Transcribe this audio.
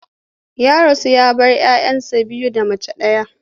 Ya rasu ya bar 'ya 'ya biyu da mace ɗaya.